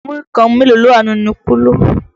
Múrí kan mélòó ló wà nínú kóló?